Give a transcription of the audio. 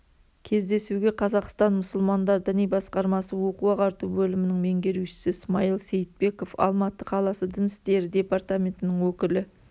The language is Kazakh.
кездесуге қазақстан мұсылмандар діни басқармасы оқу-ағарту бөлімінің меңгерушісі смаил сейітбеков алматы қаласы дін істері департаментінің өкілі